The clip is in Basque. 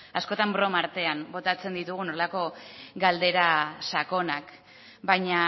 askotan broma artean botatzen ditugun horrelako galdera sakonak baina